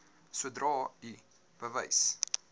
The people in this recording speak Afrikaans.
sodra u bewus